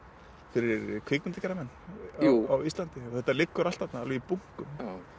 fyrir kvikmyndagerðarmenn á Íslandi og þetta liggur allt þarna alveg í bunkum